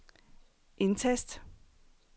indtast